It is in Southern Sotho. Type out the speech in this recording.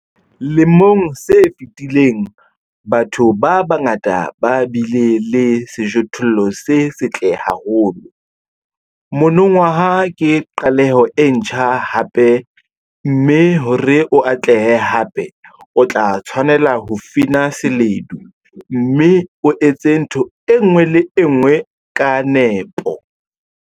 Lemong se fetileng, batho ba bangata ba bile le sejothollo se setle haholo - monongwaha ke qaleho e ntjha hape, mme hore o atlehe hape, o tla tshwanela ho fina seledu, mme o etse ntho e nngwe le e nngwe ka nepo.